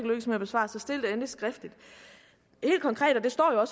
med at besvare så stil endelig spørgsmålet skriftligt helt konkret står der